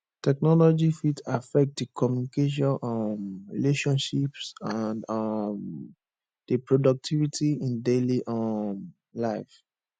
technology fit affect di communication um relationships and um di productivity in daily um life